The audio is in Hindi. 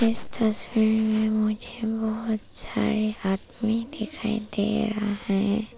इस तस्वीर मे मुझे बहौत सारे आदमी दिखाई दे रहे है।